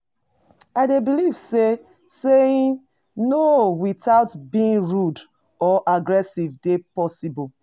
I dey believe say saying 'no' without being rude or aggressive dey possible.